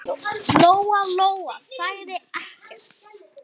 Lóa-Lóa sagði ekkert.